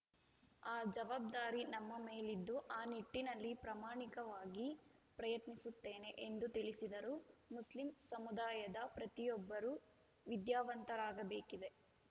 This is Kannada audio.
ಆ ಜವಾಬ್ದಾರಿ ನಮ್ಮ ಮೇಲಿದ್ದು ಆ ನಿಟ್ಟಿನಲ್ಲಿ ಪ್ರಮಾಣಿಕವಾಗಿ ಪ್ರಯತ್ನಿಸುತ್ತೇನೆ ಎಂದು ತಿಳಿಸಿದರು ಮುಸ್ಲಿಂ ಸಮುದಾಯದ ಪ್ರತಿಯೊಬ್ಬರೂ ವಿದ್ಯಾವಂತರಾಗಬೇಕಿದೆ